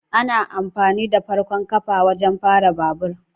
Ana amfani da farkon kafa wajen fara babur